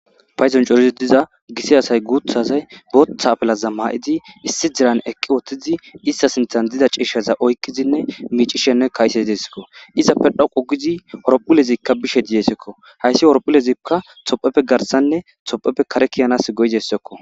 Pyzon corizi diza gisi asay guuthazay booththa apelaza maa'idi issi diran eqqi wothtizi ista sinthan dida ciishshaza oykkizinne miicishenne kayse idesekko izappe dhoqu gizi orophulezikka bishe didesekko hayssi orophulezikka topheppe garsanne topheppe kare kiyanas goyizessekko.